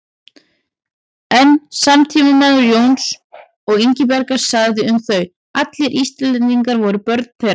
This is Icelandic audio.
Einn samtímamaður Jóns og Ingibjargar sagði um þau: Allir Íslendingar voru börn þeirra